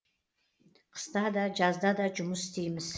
қыста да жазда да жұмыс істейміз